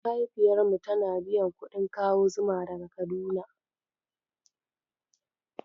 Mahaifiyar mu tana biyan kuɗin kawo zuma daga Kaduna.